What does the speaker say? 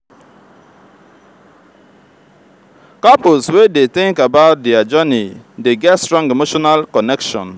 couples wey dey think about dier journey dey get strong emotional connection.